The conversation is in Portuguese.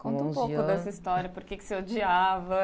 Conta um pouco dessa história, por que você odiava.